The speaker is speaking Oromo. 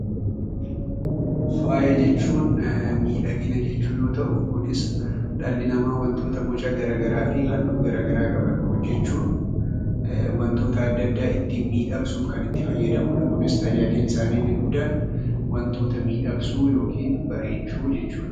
Faaya jechuun miidhagina jechuu yoo ta'u, kunis dhalli namaa wantoota boca gara garaa fi halluu gara garaa qaban hojjechuun wantoota adda addaa ittiin miidhagsuuf kan itti fayyadamudha. Kunis tajaajilli isaanii inni guddaan wantoota miidhagsuu yookiin bareechuu jechuudha.